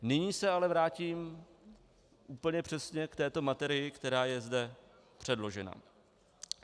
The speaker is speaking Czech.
Nyní se ale vrátím úplně přesně k této materii, která je zde předložena.